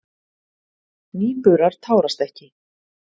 Nýburar tárast ekki.